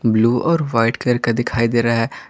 blue और white colour का दिखाई दे रहा--